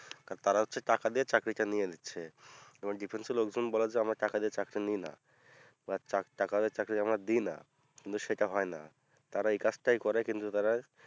তারা হচ্ছে টাকা দিয়ে চাকরিটা নিয়ে নিচ্ছে এবং difference এর লোকজন বলে যে আমরা টাকা দিয়ে চাকরি নিই না বা টা টাকা দিয়ে চাকরি আমরা দিই না কিন্তু সেটা হয়না তারা এই কাজটাই করে কিন্তু তারা